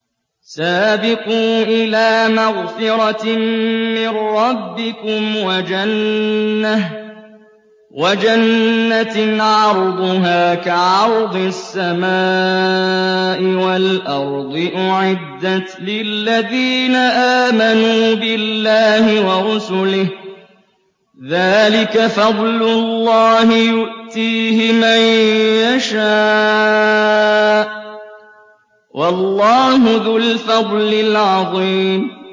سَابِقُوا إِلَىٰ مَغْفِرَةٍ مِّن رَّبِّكُمْ وَجَنَّةٍ عَرْضُهَا كَعَرْضِ السَّمَاءِ وَالْأَرْضِ أُعِدَّتْ لِلَّذِينَ آمَنُوا بِاللَّهِ وَرُسُلِهِ ۚ ذَٰلِكَ فَضْلُ اللَّهِ يُؤْتِيهِ مَن يَشَاءُ ۚ وَاللَّهُ ذُو الْفَضْلِ الْعَظِيمِ